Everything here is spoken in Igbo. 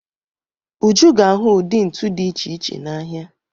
Uju ga-ahụ ụdị ntu dị iche iche n'ahịa.